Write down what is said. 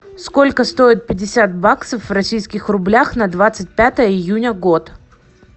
сколько стоит пятьдесят баксов в российских рублях на двадцать пятое июня год